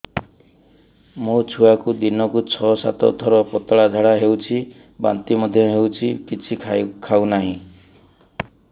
ମୋ ଛୁଆକୁ ଦିନକୁ ଛ ସାତ ଥର ପତଳା ଝାଡ଼ା ହେଉଛି ବାନ୍ତି ମଧ୍ୟ ହେଉଛି କିଛି ଖାଉ ନାହିଁ